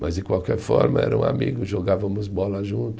Mas, de qualquer forma, era um amigo, jogávamos bola junto.